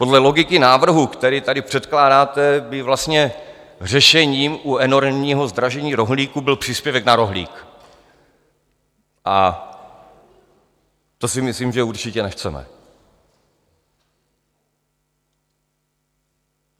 Podle logiky návrhu, který tady předkládáte, by vlastně řešením u enormního zdražení rohlíku byl příspěvek na rohlík, a to si myslím, že určitě nechceme.